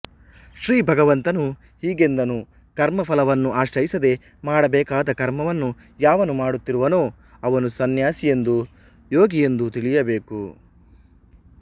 ಶ್ರೀ ಭಗವಂತನು ಹೀಗೆಂದನು ಕರ್ಮಫಲವನ್ನು ಆಶ್ರಯಿಸದೆ ಮಾಡಬೇಕಾದ ಕರ್ಮವನ್ನು ಯಾವನು ಮಾಡುತ್ತಿರುವನೋ ಅವನು ಸಂನ್ಯಾಸಿಯೆಂದೂ ಯೋಗಿಯೆಂದೂ ತಿಳಿಯಬೇಕು